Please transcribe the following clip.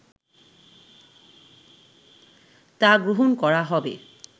তা গ্রহণ করা হবে